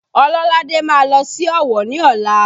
Ololade má lọ sí Ọ̀wọ̀ ni ọla